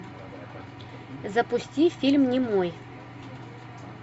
запусти фильм немой